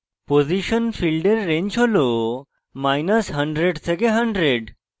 position ফীল্ডের range has100 থেকে 100